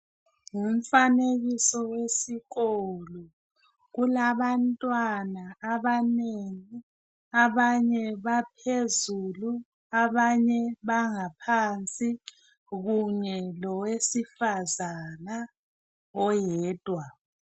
Ngumfanekiso wesikolo. Kulabantwana abanengi, abanye baphezulu abanye bangaphansi kunye lowesifazana oyedwa.